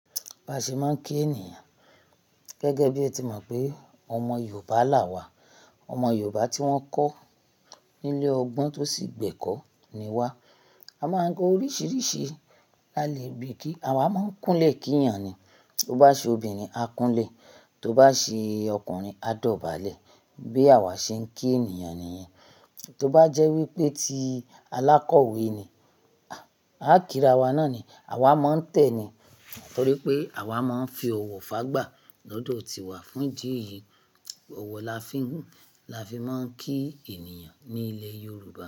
A ṣe máa ń kí ènìyàn gẹ́gẹ́ bí ẹ ti mọ̀ pé ọmọ Yorùbá la wà, ọmọ Yorùbá tí wọ́n kọ́ ní ilé ọgbọ́n tó sì gbẹ́kọ̀ ni wá. A máa ń gun oríṣiríṣi, lálè bí i kí, àwa máa ń kúnlè kí ènìyàn ni. Tó bá ṣe obìnrin, a kúnlè, tó bá ṣe ọkùnrin, a dọ̀bálẹ̀. Bí àwà ṣe ń kí ènìyàn nìyẹn. Tó bá jẹ́ wí pé ti alákọ̀wé ni, á kira wa náà ni. Àwa máa ń tẹ̀ ni. Nitorípé àwa máa ń fi ọ̀wọ̀ fágbà lọ́dọ̀ tíwà fún ìdí eyì. Ọ̀wọ̀ la fi ń, láfi máa ń kí ènìyàn ní ilẹ̀ Yorùbá.